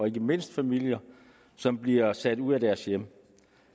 ikke mindst familier som bliver sat ud af deres hjem